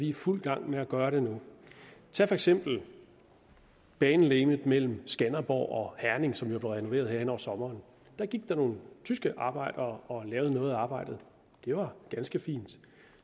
i fuld gang med at gøre det nu tag for eksempel banelegemet mellem skanderborg og herning som jo blev renoveret her hen over sommeren der gik der nogle tyske arbejdere og lavede noget af arbejdet det var ganske fint